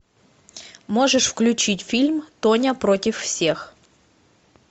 можешь включить фильм тоня против всех